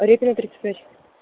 репина тридцать пять